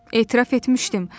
Etiraf etmişdim.